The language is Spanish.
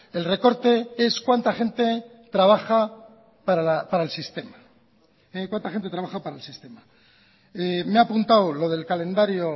el recorte es cuánta gente trabaja para el sistema me ha apuntado lo del calendario